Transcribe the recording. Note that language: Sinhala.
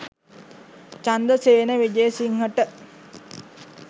චන්ද්‍රසේන විජේසිංහට